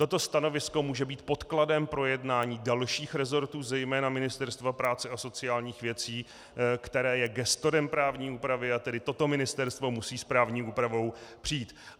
Toto stanovisko může být podkladem pro jednání dalších resortů, zejména Ministerstva práce a sociálních věcí, které je gestorem právní úpravy, a tedy toto ministerstvo musí s právní úpravou přijít.